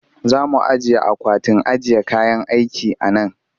Za mu ajiye akwatin ajiye kayan aiki a nan